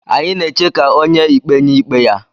Anyị na-eche ka onye ikpe nye ikpe ya.